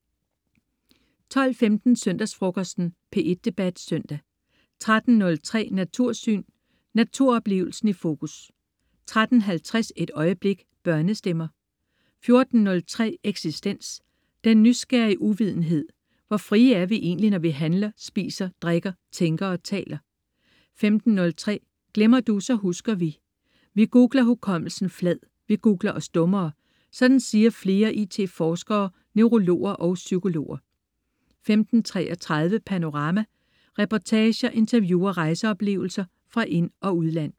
12.15 Søndagsfrokosten. P1 Debat Søndag 13.03 Natursyn. Naturoplevelsen i fokus 13.50 Et øjeblik. Børnestemmer 14.03 Eksistens. Den nysgerrige uvidenhed. Hvor frie er vi egentlig, når vi handler, spiser, drikker, tænker og taler 15.03 Glemmer Du, så husker Vi. Vi googler hukommelsen flad. Vi googler os dummere. Sådan siger flere IT forskere, neurologer og psykologer 15.33 Panorama. Reportager, interview og rejseoplevelser fra ind- og udland